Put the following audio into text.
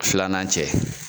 Filanan cɛ.